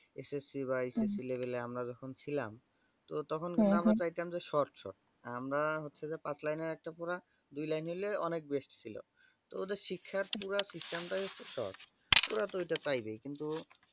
SSC বা HSC level আমরা যখন ছিলাম তো তখন কিন্তু আমরা চাইতাম short short আমরা হচ্ছে যে পাঁচ লাইনের একটা পড়া দুই লাইন নিলে অনেক best ছিল তো ওদের শিক্ষার পুরা system টাই short তো ওরা তো ঐটা চাইবে কিন্তু